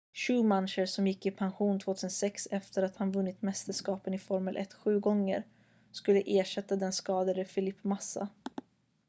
schumacher som gick i pension 2006 efter att han vunnit mästerskapen i formel 1 sju gånger skulle ersätta den skadade felipe massa